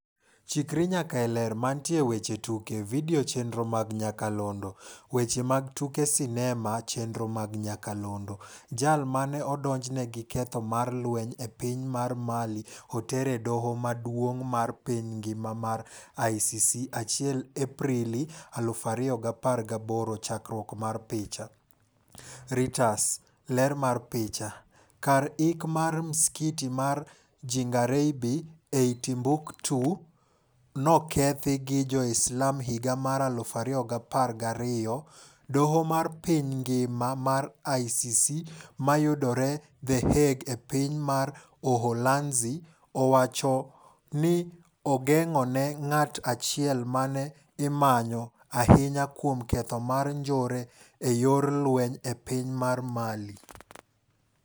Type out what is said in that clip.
Chikri nyaka e Ler. Mantie e weche tuke. Video chenro mag nyakalondo. Weche mag tuke sinema chenro mag nyakalondo. Jal mane odonjne gi ketho mar lweny e piny mar Mali otere doo maduong' mar piny ngima mar ICC 1 Aprili 2018 Chakruok mar picha, Reuters. Ler mar picha, Kar iko mar msikiti mar Djingareybe ei Timbuktu, nokethi gi jo Islam higa mar 2012. Doo mar piny ngima mar ICC mayudore The Hague e piny mar Uholanzi, owachoni ogeng'one ng'at achiel mane imanyo ahinya kuom ketho mar njore e yor lweny e piny mar Mali.